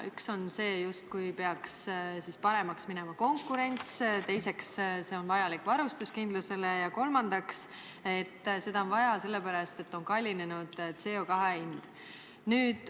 Üks on see, justkui peaks paremaks minema konkurents, teiseks, see on vajalik varustuskindlusele, ja kolmandaks, seda on vaja sellepärast, et on kallinenud CO2 hind.